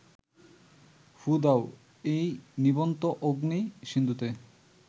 ফুঁ দাও এই নিবন্ত অগ্নি-সিন্ধুতে